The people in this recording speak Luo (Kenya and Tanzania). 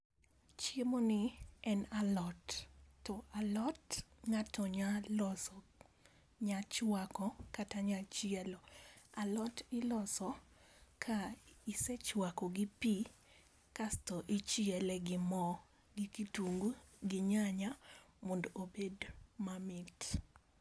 Chiemoni, en alot. To alot ng'ato nya loso, nya chwako kata nya chielo. Alot iloso ka isechwako gi pii, kasto ichiele gi mo, gi kitungu gi nyanya mondo obed mamit.